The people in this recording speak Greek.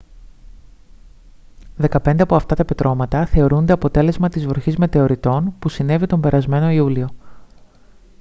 δεκαπέντε από αυτά τα πετρώματα θεωρούνται αποτέλεσμα της βροχής μετεωριτών που συνέβη τον περασμένο ιούλιο